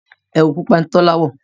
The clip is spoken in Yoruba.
ẹwu pupa ní Tola wọ.